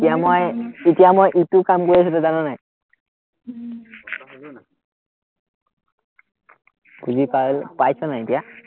এতিয়া মই ইটো কাম কৰি আছো, তই জান নে নাই? খুজি পাইছ, পাইছ নাই এতিয়া?